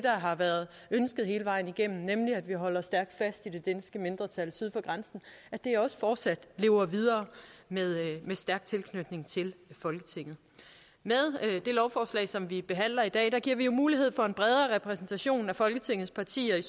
har været ønsket hele vejen igennem nemlig at vi holder stærkt fast i det danske mindretal syd for grænsen også fortsat lever videre med stærk tilknytning til folketinget med det lovforslag som vi behandler i dag giver vi jo mulighed for en bredere repræsentation af folketingets partier i